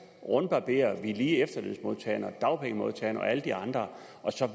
rundbarberer vi lige efterlønsmodtagerne og dagpengemodtagerne og alle de andre og